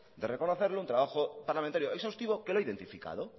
de reconocerlo un trabajo parlamentario exhaustivo que lo ha identificado